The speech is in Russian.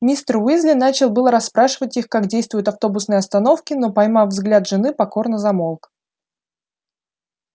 мистер уизли начал было расспрашивать их как действуют автобусные остановки но поймав взгляд жены покорно замолк